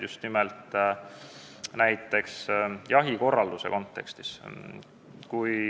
Toodi ka näiteid jahikorralduse kontekstis.